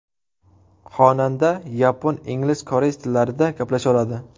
Xonanda yapon, ingliz, koreys tillarida gaplasha oladi.